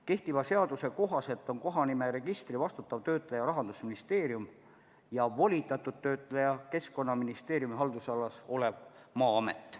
Kehtiva seaduse kohaselt on kohanimeregistri vastutav töötleja Rahandusministeerium ja volitatud töötleja Keskkonnaministeeriumi haldusalas olev Maa-amet.